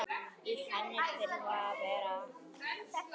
Í henni þurfa að vera